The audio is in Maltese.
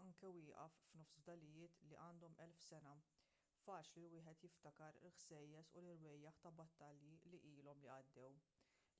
anke wieqaf f'nofs fdalijiet li għandhom elf sena faċli li wieħed jiftakar il-ħsejjes u l-irwejjaħ ta' battalji li ilhom li għaddew